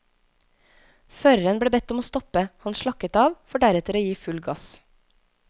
Føreren ble bedt om å stoppe, han slakket av, for deretter å gi full gass.